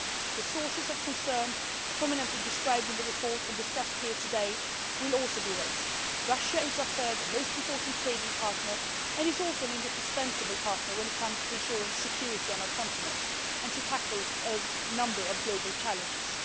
agenda. The sources of concern prominently described in the report and discussed here today will also be raised. Russia is our third most important trading partner and is also an indispensable partner when it comes to ensuring security on our continent and to tackling a number of global challenges.